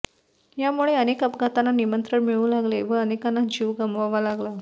यामुळे अनेक अपघातांना निमंत्रण मिळु लागले व अनेकांना जीव गमवावा लागला